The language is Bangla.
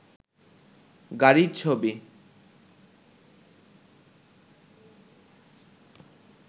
গাড়ির ছবি